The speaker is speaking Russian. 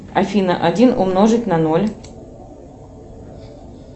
афина один умножить на ноль